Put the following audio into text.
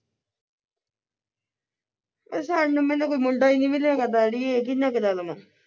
ਪਸੰਦ ਮੈਨੂੰ ਕੋਈ ਮੁੰਡਾ ਈ ਨੀ ਮਿਲਿਆ ਕਿਹਨਾ ਕਰਾ ਲਵਾ